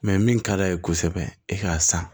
min ka d'a ye kosɛbɛ e ka san